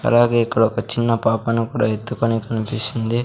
అలాగే ఇక్కడ ఒక చిన్న పాపను కూడా ఎత్తుకొని కనిపిస్తుంది.